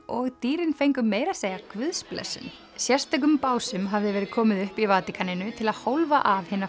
og dýrin fengu meira að segja guðsblessun sérstökum básum hafði verið komið upp í Vatíkaninu til að hólfa af hina